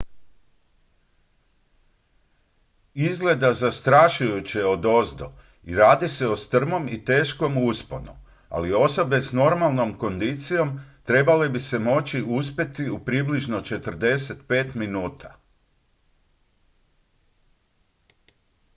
izgleda zastrašujuće odozdo i radi se o strmom i teškom usponu ali osobe s normalnom kondicijom trebale bi se moći uspeti u približno 45 minuta